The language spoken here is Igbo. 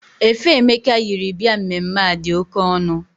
Efe Emeka yiri bịa mmemme a dị oke ọnụ.